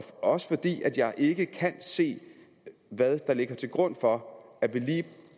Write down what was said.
også fordi jeg ikke kan se hvad der ligger til grund for at vi lige